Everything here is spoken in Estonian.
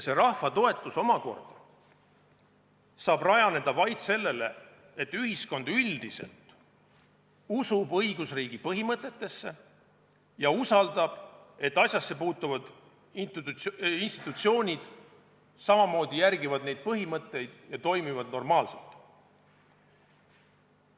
See rahva toetus saab omakorda rajaneda vaid sellel, et ühiskond üldiselt usub õigusriigi põhimõtetesse ja usaldab, et asjasse puutuvad institutsioonid samamoodi järgivad neid põhimõtteid ja toimivad normaalselt.